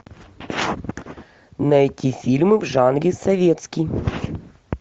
найти фильмы в жанре советский